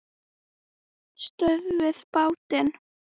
STÖÐVIÐ BÁTINN!